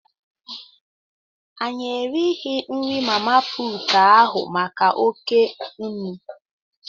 Anyị righị nri mama puutụ ahụ maka oké nnu.